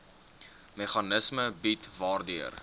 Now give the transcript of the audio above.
meganisme bied waardeur